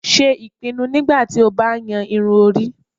Ṣe ipinnu nigbati o ba yan irun-ori